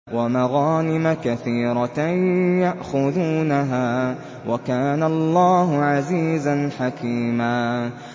وَمَغَانِمَ كَثِيرَةً يَأْخُذُونَهَا ۗ وَكَانَ اللَّهُ عَزِيزًا حَكِيمًا